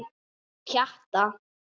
Honum Pjatta?